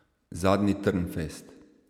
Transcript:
Zadnji Trnfest?